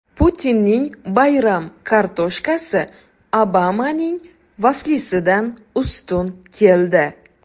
Putinning bayram kartoshkasi Obamaning vaflisidan ustun keldi.